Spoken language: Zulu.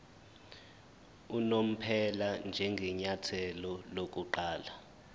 unomphela njengenyathelo lokuqala